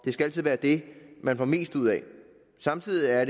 skal altid være det man får mest ud af samtidig er